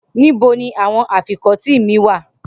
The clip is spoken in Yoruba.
Nibo ni awọn afikọti mi wa?